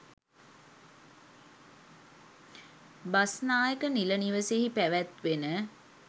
බස්නායක නිල නිවසෙහි පැවැත්වෙන